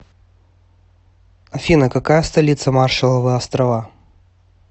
афина какая столица маршалловы острова